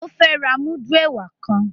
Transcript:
O fẹ rà mudu ẹwà ktan